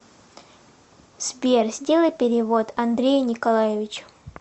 сбер сделай перевод андрею николаевичу